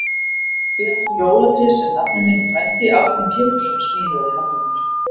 Við áttum jólatré sem nafni minn og frændi, Árni Pétursson, smíðaði handa okkur.